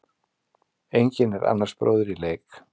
Enginn er annars bróðir í leik.